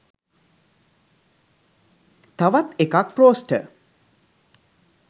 තවත් එකක් ක්‍රෝස්ට